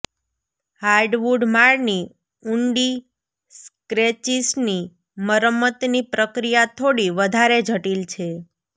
hardwood માળની ઊંડી સ્ક્રેચિસની મરમ્મતની પ્રક્રિયા થોડી વધારે જટિલ છે